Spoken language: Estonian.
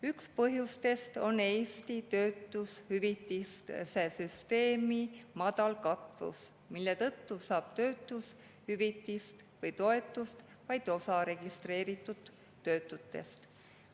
Üks põhjus on Eesti töötushüvitiste süsteemi madal katvus, mille tõttu saab töötushüvitist või toetust vaid osa registreeritud töötutest.